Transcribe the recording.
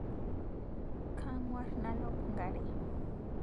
Kang'war nalop nkare